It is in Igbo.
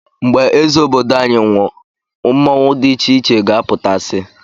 Mgbe eze obodo anyị nwụọ mmọnwu dị icheiche ga-apụta si